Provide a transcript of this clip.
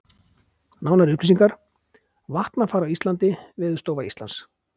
Nánari upplýsingar: Vatnafar á Íslandi Veðurstofa Íslands.